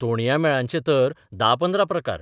तोणया मेळांचे तर 10-15 प्रकार.